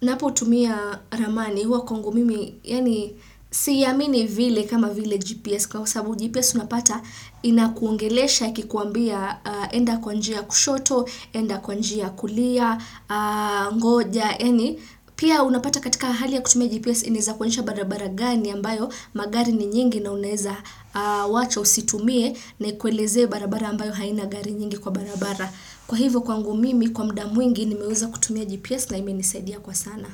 ninapo tumia ramani, huwa kwangu mimi, yaani siamini vile kama vile GPS kwa sababu GPS unapata inakuongelesha ikikuambia enda kwa njia kushoto, enda kwanjia ya kulia, ngoja, yaani, pia unapata katika ahali ya kutumia GPS inizakuanisha barabara gani ambayo magari ni nyingi na uneza wacha usitumie na ikueleze barabara ambayo haina gari nyingi kwa barabara. Kwa hivyo kwangu mimi kwa muda mwingi nimeweza kutumia GPS na imenisaidia kwa sana.